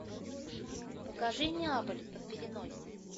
покажи неаполь под пеленой